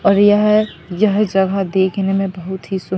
और यह यह जगह देखने में बहुत ही--